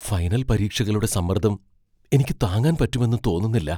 Final പരീക്ഷകളുടെ സമ്മർദ്ദം എനിക്ക് താങ്ങാൻ പറ്റുമെന്ന് തോന്നുന്നില്ല.